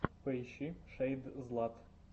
поищи шэйдзлат